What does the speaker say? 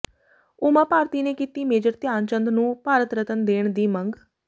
ਉਮਾ ਭਾਰਤੀ ਨੇ ਕੀਤੀ ਮੇਜਰ ਧਿਆਨ ਚੰਦ ਨੂੰ ਭਾਰਤ ਰਤਨ ਦੇਣ ਦੀ ਮੰਗ